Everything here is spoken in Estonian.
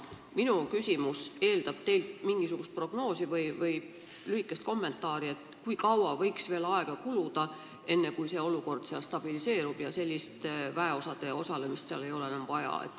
Minu küsimus eeldab teilt mingisugust prognoosi või lühikest kommentaari, kui kaua võiks veel aega kuluda, enne kui olukord seal stabiliseerub ja selliste väeüksuste osalemist seal ei ole enam vaja.